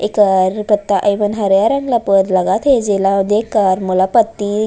इका हरी पत्ता अवं हरा रंग लपेट लगाथ हवे ऐजा देख के मला पत्ति --